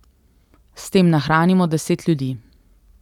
S tem nahranimo deset ljudi.